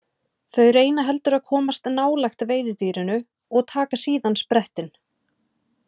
Þau reyna heldur að komast nálægt veiðidýrinu og taka síðan sprettinn.